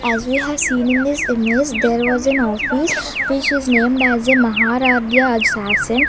as we have seen in this image there was an office which is named as a maharadhya ajjasen.